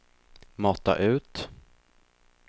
mata ut